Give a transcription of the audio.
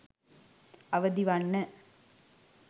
අවදිවන්න